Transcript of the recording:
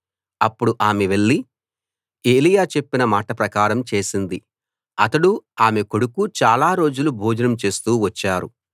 అప్పుడు ఆమె వెళ్లి ఏలీయా చెప్పిన మాట ప్రకారం చేసింది అతడూ ఆమె ఆమె కొడుకు చాలా రోజులు భోజనం చేస్తూ వచ్చారు